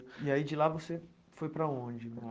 E aí de lá você foi para onde?